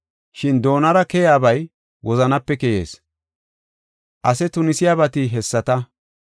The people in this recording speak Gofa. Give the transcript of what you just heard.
Shin doonara keyaabay wozanape keyees. Ase tunisiyabati hessata.